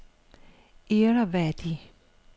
Irrawaddy